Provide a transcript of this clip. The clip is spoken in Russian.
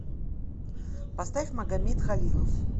поставь магамед халилов